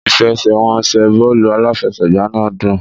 Ìfẹsẹ̀wọnsẹ̀ bọ́ọ̀lù aláfẹsẹ̀gbá náà dùn.